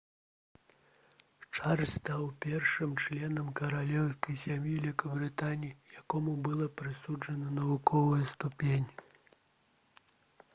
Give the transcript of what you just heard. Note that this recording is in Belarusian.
чарльз стаў першым членам каралеўскай сям'і вялікабрытаніі якому была прысуджана навуковая ступень